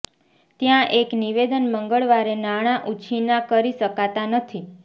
ત્યાં એક નિવેદન મંગળવારે નાણાં ઉછીના કરી શકાતા નથી